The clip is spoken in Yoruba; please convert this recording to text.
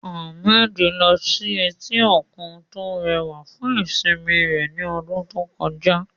Ahmed lọ sí etí òkun tó rẹwà fún ìsinmi rẹ̀ ní ọdún tó kọjá.